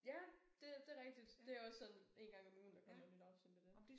Ja det det rigtigt det er også sådan en gang om ugen der kommet nyt afsnit med det